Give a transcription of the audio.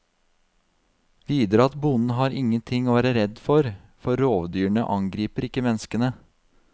Videre at bonden har ingen ting å være redd for, for rovdyrene angriper ikke menneskene.